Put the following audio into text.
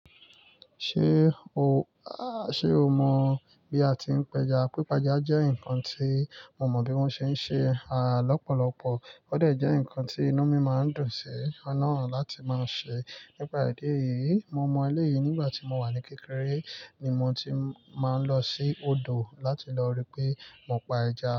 Ṣé o, àh ṣe o mọ bi a ti ń pẹja? Pípa eja jẹ́ nǹkan tí mo mọ bí wọ́n ṣe ń ṣe, à, lọ́pọ̀lọpọ̀ ó dè jẹ́ ǹkan tí inú mi máa ń dùn sí nàa àti máa ṣe. Nípa ìdí èyí, mo mọ eleyii nígbà tí mo wà ní kékeré ni mo ti máa ń lọ sí odò láti lọ rí pé mo pa ẹja.